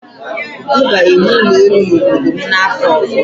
M ga-ewu ụlọ elu n'obodo m n'afọ ọzọ.